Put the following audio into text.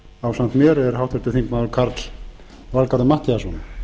ásamt mér er háttvirtur þingmaður karl valgarður matthíasson